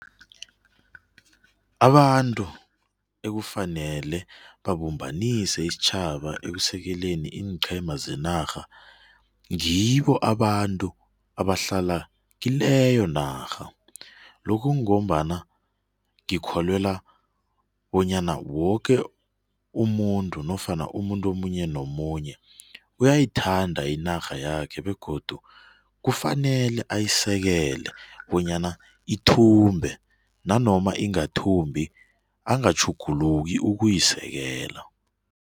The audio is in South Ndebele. Abantu ekufanele babumbanise isitjhaba ekusekeleni iinqhema zenarha, ngibo abantu abahlala kileyo narha lokhu ngombana ngikholelwa bonyana woke umuntu nofana umuntu omunye nomunye uyayithanda inarha yakhe begodu kufanele ayisekele bonyana ithumbe nanoma ingathumbi angatjhuguluki ukuyisekela.